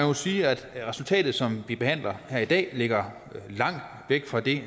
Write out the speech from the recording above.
må sige at resultatet som vi behandler her i dag ligger langt væk fra det